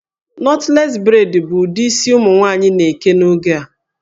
Knotless braid bụ ụdị isi ụmụ nwaanyị na-eke n'oge a